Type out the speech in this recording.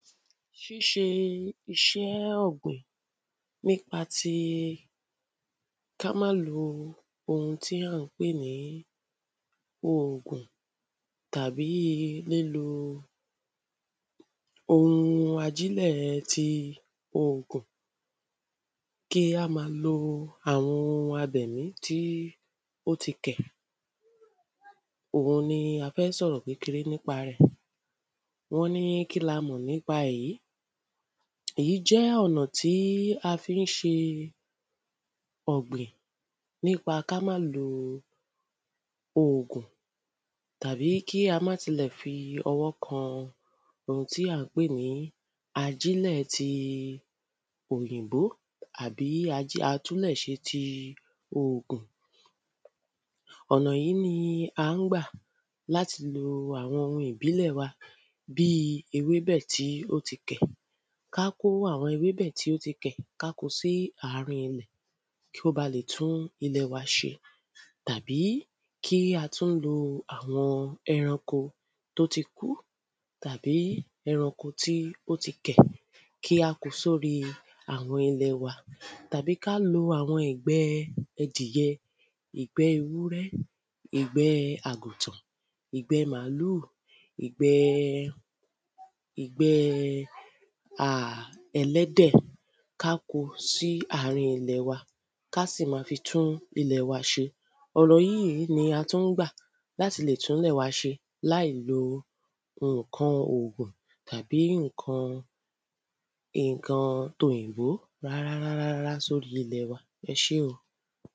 ṣíṣe iṣẹ́ ọ̀gbìn nípa ti ká má lo ohun tí à ń pè ní ògùn tàbí lílo ohun ajílẹ̀ ti ògùn kí á máa lo àwọn abẹ̀mí tí ó ti kẹ̀ òun ni a fẹ́ sọ̀rọ̀ kékeré nípa rẹ̀ wọ́n ní kíni a mọ̀ nípa ẹ̀ yìí, èyí jẹ́ ọ̀nà tí a fi ṣe ọ̀gbìn nípa ká máa lo ògùn tàbí kí á má tilẹ̀ fi ọwọ́ kan ohun tí à ń pè ní ajílẹ̀ ti òyìnbó àbí atúnlẹ̀ṣe ti ògùn ọ̀nà yìí ni à ń gbà láti lo àwọn ohun ìbílẹ̀ wa bíi ewébẹ̀ tí ó ti kẹ̀ ká kó àwọn ewébẹ̀ tí ó ti kẹ̀ sí àárín ilẹ̀ kó ba lè tún ilẹ̀ wa ṣe tàbí kí á tún lo àwọn ẹranko tó ti kú tàbí ẹranko tí ó ti kẹ̀ kí á kó o sí orí àwọn ilẹ̀ wa tàbí ká lo àwọn ìgbẹ ẹdìyẹ, ìgbẹ ewúrẹ́, ìgbẹ àgùntàn, ìgbẹ màálù, ìgbẹ ìgbẹ ẹlẹ́dẹ̀, ká kó o sí àárín ilẹ̀ wa, ká sì máa fi tún ilẹ̀ wa ṣe. ọ̀nà yíì ni a tún ń gbà láti lè tún ilẹ̀ wa ṣe láì lo ǹkan ògùn tàbí ǹkan tòyìnbó rárá rárá sóri ilẹ̀ wa, ẹ ṣé o